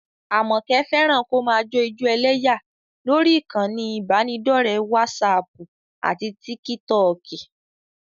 Àmọ̀kẹ́ fẹ́ràn kó máa jó ijó ẹlẹ́yà lórí ìkànnì ìbánidọ́ọ̀rẹ́ wásaaàpù àti tíkítọọ̀kì